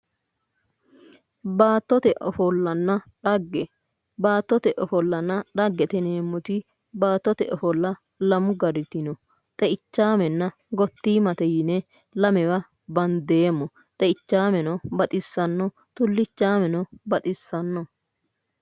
Baattote ofollanna dhagge, baattote ofollanna dhaggete yineemmo woyti baattote ofolla lamu gariti no, xeichamenna gotimate yinne lamewa bandeemmo ,xeichameno baxisano, tulichameno baxisano